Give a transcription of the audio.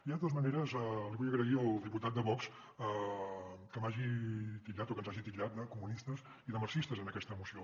jo de totes maneres li vull agrair al diputat de vox que m’hagi titllat o que ens hagi titllat de comunistes i de marxistes en aquesta moció